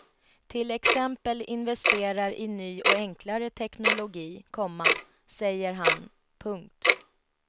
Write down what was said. Till exempel investerar i ny och enklare teknologi, komma säger han. punkt